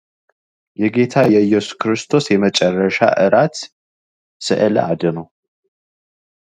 የጌታ የኢየሱስ ክርስቶስ የመጨረሻ እራት ስእል አድኖ